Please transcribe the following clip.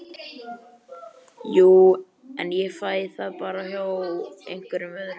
Jú- en ég fæ það bara hjá einhverjum öðrum